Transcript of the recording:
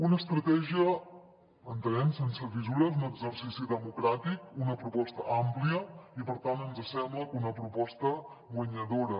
una estratègia entenem sense fissures un exercici democràtic una proposta àmplia i per tant ens sembla que una proposta guanyadora